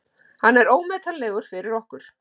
Hann er ómetanlegur fyrir okkur.